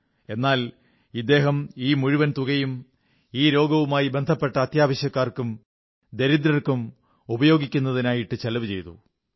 എന്നാൽ ഇദ്ദേഹം ഈ മുഴുവൻ തുകയും ഈ രോഗവുമായി ബന്ധപ്പെട്ട അത്യാവശ്യക്കാർക്കും ദരിദ്രർക്കും ഉപയോഗിക്കുന്നതിനായി ചെലവു ചെയ്തു